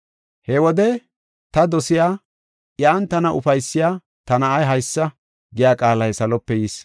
He wode, “Ta dosiya, iyan tana ufaysiya ta na7ay haysa” giya qaalay salope yis.